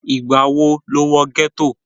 ìgbà wo ló wọ gẹ́tò?